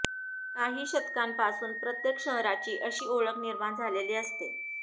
काही शतकांपासून प्रत्येक शहराची अशी ओळख निर्माण झालेली असते